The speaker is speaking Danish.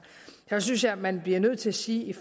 hvad synes jeg man bliver nødt til at sige